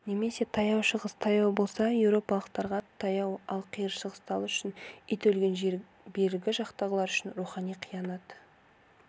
немесе таяу шығыс таяу болса еуропалықтарға таяу ал қиыр шығыстағылар үшін ит өлген жер бергі жақтағылар үшін рухани қиянат